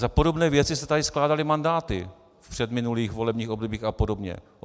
Za podobné věci se tady skládaly mandáty v předminulých volebních obdobích a podobně.